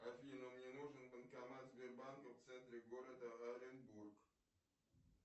афина мне нужен банкомат сбербанка в центре города оренбург